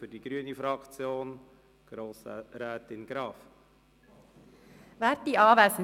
Für die grüne Fraktion hat Grossrätin Graf das Wort.